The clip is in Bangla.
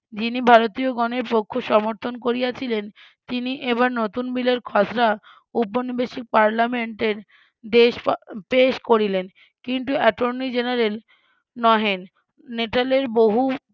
যিনি ভারতীয় গণের পক্ষ সমর্থন করিয়াছিলেন তিনি এবার নতুন বিলের খসড়া উপনিবেশিক পার্লামেন্টে পেশ পেশ করিলেন কিন্তু এটর্নি জেনারেল নহেন নেটালের বহু